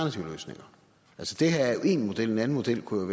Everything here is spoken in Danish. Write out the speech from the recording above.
det her er jo én model en anden model kunne